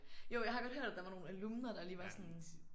Jo jeg har godt hørt at der var nogle alumner der lige var sådan